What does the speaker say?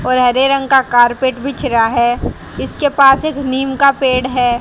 और हरे रंग का कार्पेट बिछ रहा हैं इसके पास एक नीम का पेड़ है।